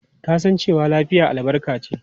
Kasancewa lafiya albarka ce.